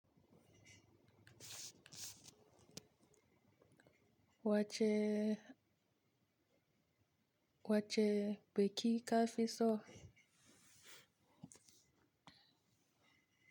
Wacce, wacce bi ki ka fi so?